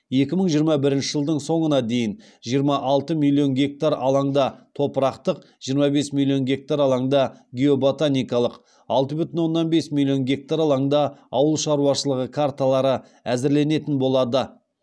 екі мың жиырма бірінші жылдың соңына дейін жиырма алты миллион гектар алаңда топырақтық жиырма бес миллион гектар алаңда геоботаникалық алты бүтін оннан бес миллион гектар алаңда ауыл шаруашылығы карталары әзірленетін болады